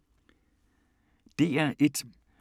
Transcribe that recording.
DR1